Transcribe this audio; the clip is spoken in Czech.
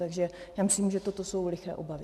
Takže já myslím, že toto jsou liché obavy.